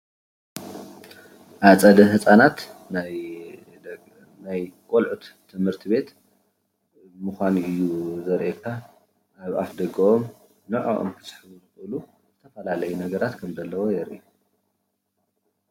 ኣፀደ ህፃናት ናይ ቆልዑ ትምህርት ቤት ምኳኑ እዩ ዘርእየካ ፡፡ ኣብ ኣፍ ደጊኦም እና ንዐኦም ክስሕቡ ዝክእሉ ዝተፈላለዩ ነገራት ከም ዘለዉ የርኢ፡፡